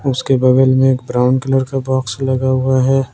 उसके बगल में एक ब्राउन कलर का बॉक्स लगा हुआ है।